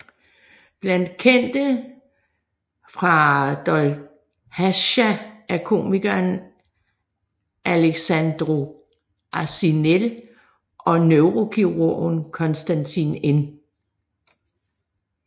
Blandt kendte fra Dolhasca er komikeren Alexandru Arșinel og neurokirurgen Constantin N